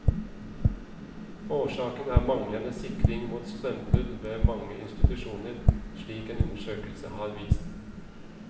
Årsaken er manglende sikring mot strømbrudd ved mange institusjoner, slik en undersøkelse har vist.